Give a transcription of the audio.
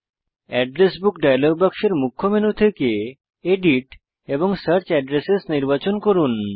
address book dialog বাক্সের মুখ্য menu থেকে এডিট এবং সার্চ অ্যাড্রেস নির্বাচন করুন